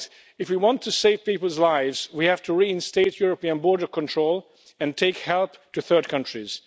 If we want to save people's lives, we have to reinstate European border control and take help to third countries.